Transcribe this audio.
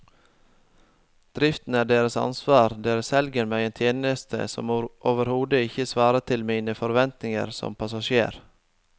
Driften er deres ansvar, dere selger meg en tjeneste som overhodet ikke svarer til mine forventninger som passasjer.